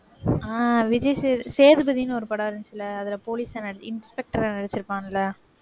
அஹ் விஜய் சேது~ சேதுபதின்னு ஒரு படம் வந்துச்சு இல்லை? அதில police ஆ ந~ inspector ஆ நடிச்சிருப்பான்ல